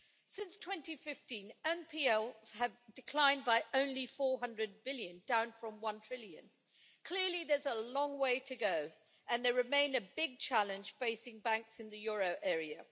Since 2015, NPLs have declined by only 400 billion, down from one trillion. Clearly, there is a long way to go and they remain a big challenge facing banks in the euro area.